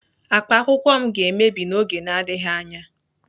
Akpa akwụkwọ m ga-emebi n'oge na-adịghị anya.